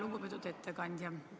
Lugupeetud ettekandja!